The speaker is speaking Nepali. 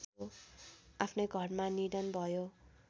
आफ्नै घरमा निधन भयो